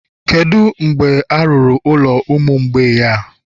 Kedu mgbe a rụrụ ụlọ ụmụ mgbei a?